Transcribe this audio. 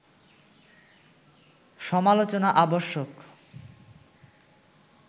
সমালোচনা আবশ্যক